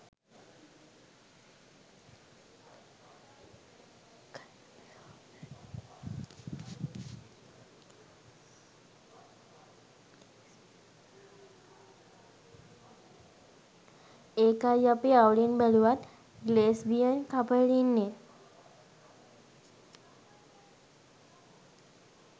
එකයි අපි අවුලෙන් බැලුවත් ගේලෙස්බියන් කපල් ඉන්නේ